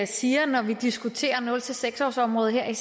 siger når vi diskuterer nul seks årsområdet her